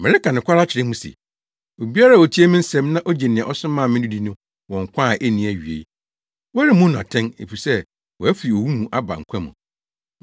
“Mereka nokware akyerɛ mo se: Obiara a otie me nsɛm na ogye nea ɔsomaa me no di no wɔ nkwa a enni awiei. Wɔremmu no atɛn, efisɛ wafi owu mu aba nkwa mu.